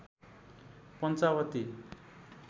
Panchavati